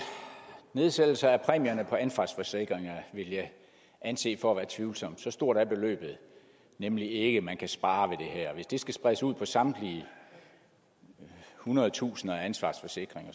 nedsættelser af præmierne på ansvarsforsikringer vil jeg anse for at være tvivlsomt så stort er beløbet nemlig ikke man kan spare ved det her hvis det skal spredes ud på samtlige hundrede tusinder af ansvarsforsikringer